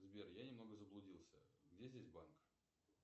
сбер я немного заблудился где здесь банк